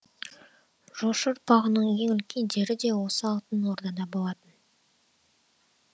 жошы ұрпағының ең үлкендері де осы алтын ордада болатын